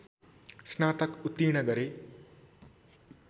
स्नातक उत्तीर्ण गरे